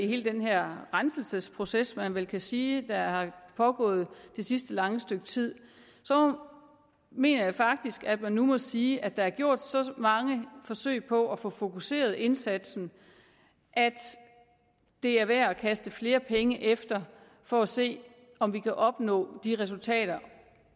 hele den her renselsesproces man vel kan sige der er pågået det sidste lange stykke tid mener jeg faktisk at man nu må sige at der er gjort så mange forsøg på at få fokuseret indsatsen at det er værd at kaste flere penge efter for at se om vi kan opnå de resultater